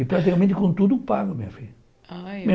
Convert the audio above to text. E praticamente com tudo pago, minha filha. Ai